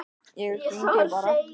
Ég hringi bara.